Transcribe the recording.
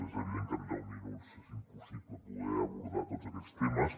és evident que en deu minuts és impossible poder abordar tots aquests temes